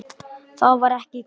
Það var ekki gott.